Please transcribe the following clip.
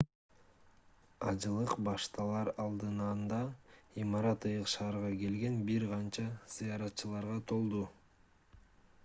ажылык башталар алдыанда имарат ыйык шаарга келген бир канча зыяратчыларга толду